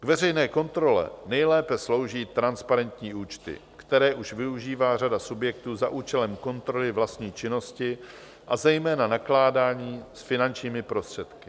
K veřejné kontrole nejlépe slouží transparentní účty, které už využívá řada subjektů za účelem kontroly vlastní činnosti, a zejména nakládání s finančními prostředky.